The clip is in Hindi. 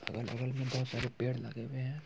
अगल बगल में बहुत सारे पेड़ लगे हुए हैं।